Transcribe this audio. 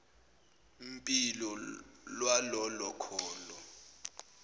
mpilo lwalolo kholo